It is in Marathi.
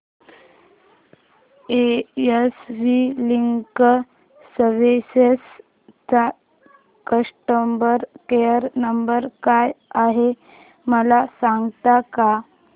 एस वी लीगल सर्विसेस चा कस्टमर केयर नंबर काय आहे मला सांगता का